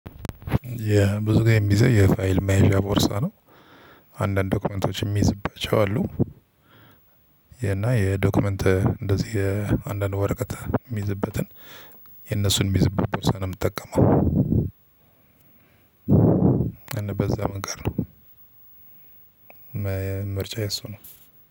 የብዙ ጊዜ የምይዘው የፋይል መያዣ ቦርሳ ነው አንዳንድ ዶክመንቶች እምይዝባቸው አሉ። እና የዶክመንት እንደዚህ አንዳንድ ወረቀት እምይዝበትን የነሱን እምይዝበት ቦርሳ ነው የምጠቀመው። እና በዛ መንገድ ነው። ምርጫዬ እሱ ነው።